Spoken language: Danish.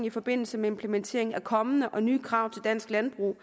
i forbindelse med implementering af kommende og nye krav til dansk landbrug